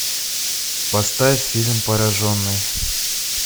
поставь фильм пораженный